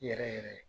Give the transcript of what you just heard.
Yɛrɛ yɛrɛ